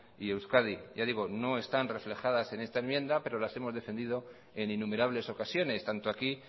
y euskadi ya digo no están reflejadas en esta enmienda pero las hemos defendido en innumerables ocasiones tanto aquí